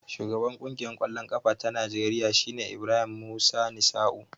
Shugaban Ƙungiyar ƙwallon ƙafa ta Najeriya shine Ibrahim Musa Misau.